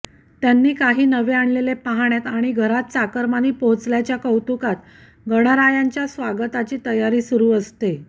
त्यांनी काही नवे आणलेले पाहण्यात आणि घरात चाकरमानी पोहोचल्याच्या कौतुकात गणरायांच्या स्वागताची तयारी सुरू असते